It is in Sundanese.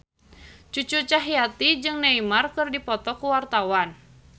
Cucu Cahyati jeung Neymar keur dipoto ku wartawan